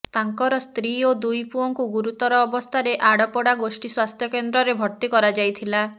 ତାଙ୍କର ସ୍ତ୍ରୀ ଓ ଦୁଇ ପୁଅଙ୍କୁ ଗୁରୁତର ଅବସ୍ଥାରେ ଆଡ଼ପଡ଼ା ଗୋଷ୍ଠୀ ସ୍ୱାସ୍ଥ୍ୟକେନ୍ଦ୍ରରେ ଭର୍ତ୍ତି କରାଯାଇଥିଲା